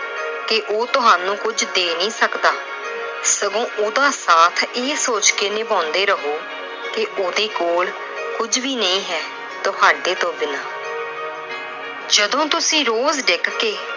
ਕਿ ਉਹ ਤੁਹਾਨੂੰ ਕੁਛ ਦੇ ਨਹੀਂ ਸਕਦਾ। ਸਗੋਂ ਉਹਦਾ ਸਾਥ ਇਹ ਸੋਚ ਕੇ ਨਿਭਾਉਂਦੇ ਰਹੋ ਕਿ ਉਹਦੇ ਕੋਲ ਕੁਝ ਵੀ ਨਹੀਂ ਹੈ ਤੁਹਾਡੇ ਤੋਂ ਬਿਨਾਂ। ਜਦੋਂ ਤੁਸੀਂ ਰੋਜ਼ ਡਿੱਗ ਕੇ